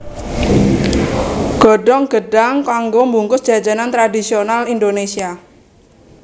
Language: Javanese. Godhong gêdhang kanggo mbungkus jajanan tradhisonal Indonésia